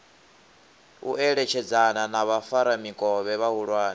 u eletshedzana na vhafaramikovhe vhahulwane